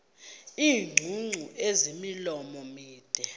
iingcungcu ezimilomo mide